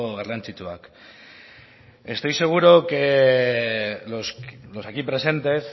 garrantzitsuak estoy seguro que los aquí presentes